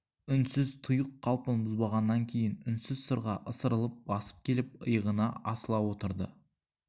үнсіз тұйық қалпын бұзбағаннан кейін үнсіз сырға ысырылып басып келіп иығына асыла отырды